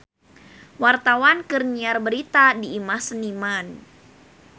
Wartawan keur nyiar berita di Imah Seniman